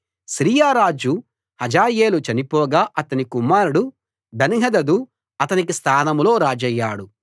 సిరియారాజు హజాయేలు చనిపోగా అతని కుమారుడు బెన్హదదు అతనికి స్థానంలో రాజయ్యాడు